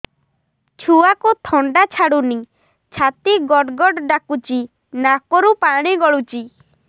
ଛୁଆକୁ ଥଣ୍ଡା ଛାଡୁନି ଛାତି ଗଡ୍ ଗଡ୍ ଡାକୁଚି ନାକରୁ ପାଣି ଗଳୁଚି